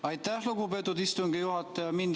Aitäh, lugupeetud istungi juhataja!